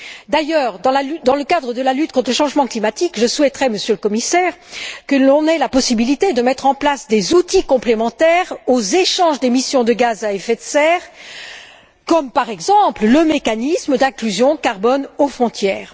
D'ailleurs, dans le cadre de la lutte contre le changement climatique, je souhaiterais, Monsieur le Commissaire, que l'on ait la possibilité de mettre en place des outils complémentaires aux échanges d'émissions de gaz à effet de serre, comme le mécanisme d'inclusion carbone aux frontières.